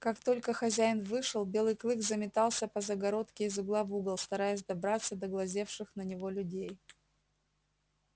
как только хозяин вышел белый клык заметался по загородке из угла в угол стараясь добраться до глазевших на него людей